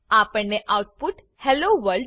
આપણને output hello world